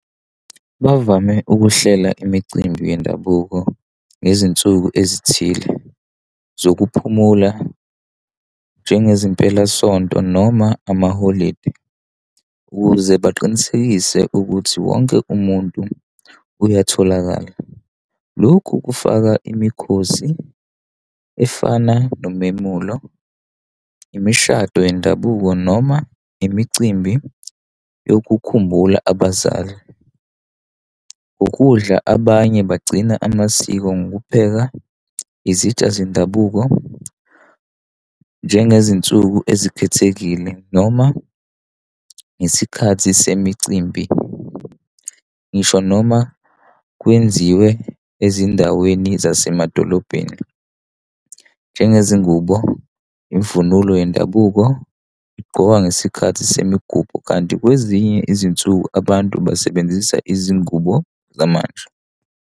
Bavame ukuhlela imicimbi yendabuko ngezinsuku ezithile zokuphumula njengezimpelasonto noma amaholidi ukuze baqinisekise ukuthi wonke umuntu uyatholakala. Lokhu kufaka imikhosi efana nomemulo, imishado yendabuko noma imicimbi yokukhumbula abazali. Ukudla abanye bagcina amasiko ngokupheka izitsha zendabuko, njengezinsuku ezikhethekile noma ngesikhathi semicimbi, ngisho noma kwenziwe ezindaweni zasemadolobheni, njengezingubo, imvunulo yendabuko igqokwa ngesikhathi semigubho, kanti kwezinye izinsuku abantu basebenzisa izingubo zamanje.